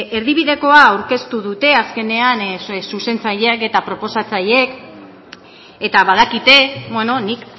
erdibidekoa aurkeztu dute azkenean zuzentzaileek eta proposatzaileek eta badakite nik